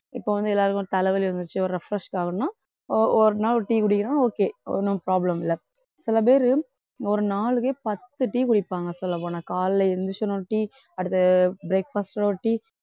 இப்ப வந்து எல்லாருக்கும் தலைவலி வந்துச்சு ஒரு refresh ஆகணுன்னா ஒ~ ஒரு நாள் ஒரு tea குடிக்கலாம் okay ஒண்ணும் problem இல்லை சில பேரு ஒரு நாளைக்கே பத்து tea குடிப்பாங்க சொல்லப் போனா காலையில எந்திரிச்ச உடனே ஒரு tea அடுத்து breakfast ஒட ஒரு tea